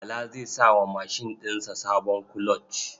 Bala zai sa wa mashin ɗin sa sabon kuloc.